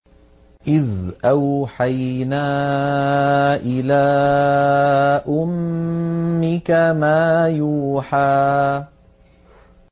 إِذْ أَوْحَيْنَا إِلَىٰ أُمِّكَ مَا يُوحَىٰ